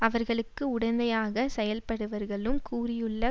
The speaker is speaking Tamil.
அவர்களுக்கு உடந்தையாக செயல்படுவர்களும் கூறியுள்ள